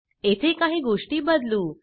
येथे काही गोष्टी बदलू